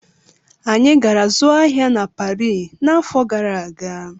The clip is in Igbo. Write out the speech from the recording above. Anyị gara zụọ ahịa na Parii n'afọ gara aga.